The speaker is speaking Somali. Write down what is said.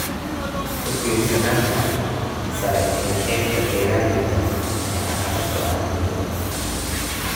Ku-tiirsanaanta sare ee qaybta beeralayda ayaa caqabad ku ah dawladda.